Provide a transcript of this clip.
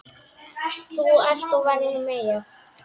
Þú ert og verður Meyja.